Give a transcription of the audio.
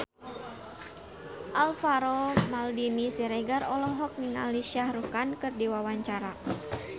Alvaro Maldini Siregar olohok ningali Shah Rukh Khan keur diwawancara